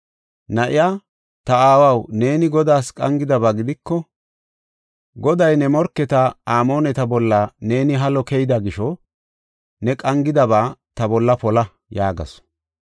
Na7iya, “Ta aawaw, neeni Godaas qangidaba gidiko, Goday ne morketa, Amooneta bolla neeni halo keyida gisho ne qangidaba ta bolla pola” yaagasu.